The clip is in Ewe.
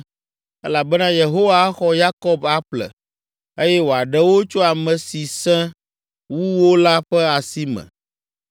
Elabena Yehowa axɔ Yakob aƒle, eye wòaɖe wo tso ame si sẽ wu wo la ƒe asi me.